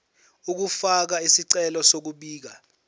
ukufaka isicelo sokubika